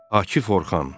Akif Orxan.